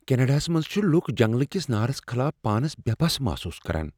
کینیڈاہس منٛز چھ لکھ جنگلہٕ کس نارس خلاف پانس بے بس محسوس کران۔